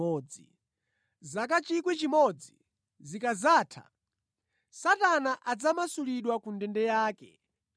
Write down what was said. Zaka 1,000 zikadzatha, Satana adzamasulidwa ku ndende yake